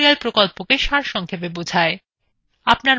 এটি spoken tutorial প্রকল্পকে সারসংক্ষেপে বোঝায়